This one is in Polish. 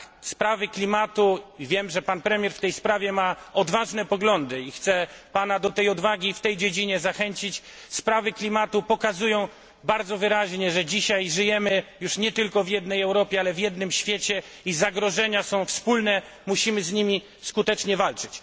Sprawy klimatu wiem, że pan premier w tej sprawie ma odważne poglądy, chcę pana do tej odwagi w tej dziedzinie zachęcić pokazują bardzo wyraźnie, że dzisiaj żyjemy już nie tylko w jednej Europie, ale w jednym świecie i zagrożenia są wspólne, musimy z nimi skutecznie walczyć.